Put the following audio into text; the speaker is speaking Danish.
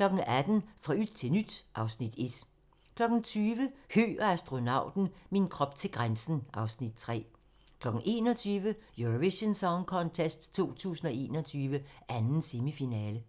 18:00: Fra yt til nyt (Afs. 1) 20:00: Høgh og astronauten - min krop til grænsen (Afs. 3) 21:00: Eurovision Song Contest 2021, 2. semifinale